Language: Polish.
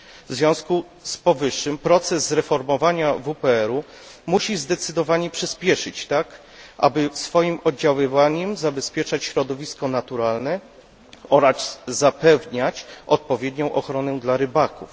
W związku z powyższym proces reformowania WPRyb należy zdecydowanie przyspieszyć, tak, aby swoim oddziaływaniem zabezpieczać środowisko naturalne oraz zapewniać odpowiednią ochronę dla rybaków.